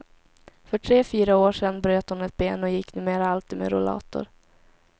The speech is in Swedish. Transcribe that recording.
För tre fyra år sedan bröt hon ett ben och gick numera alltid med rollator.